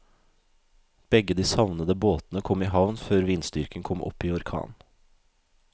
Begge de savnede båtene kom i havn før vindstyrken kom opp i orkan.